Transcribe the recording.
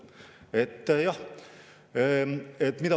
Mida ma teeksin?